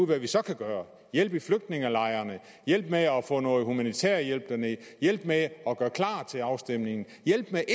hvad vi så kan gøre hjælpe i flygtningelejrene hjælpe med at få noget humanitær hjælp derned hjælpe med at gøre klar til afstemningen hjælpe med